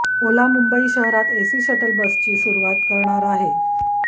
ओला मुंबई शहरात AC shuttle बसची सुरुवात करणार आहे